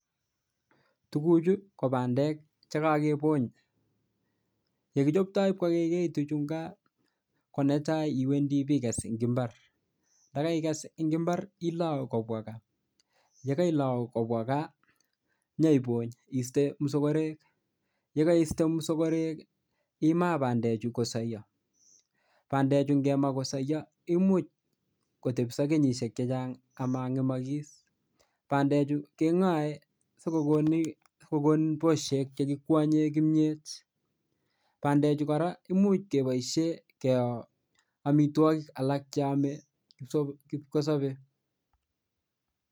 Tuguchu ko bandek che kakebony. Yekichopto ipkoigeitu chu nga, ko netai ipiges eng imbar. Ndakaiges eng imbar ilou kobwa kaa. Ye kailau kobwa kaa nyeibony iiste mosokorek. Ye kaiste mosokorek imaa bandechu ipkosoiyo. Bandechu kema kosoiyo imuch kotepso kenyisiek chechang komangemakis. Bandechu kengoe sikokon bosyek che kikonye kimnyet. Bandechu kora imuch keboisien keo amitwogik alak che ame kipkosobe.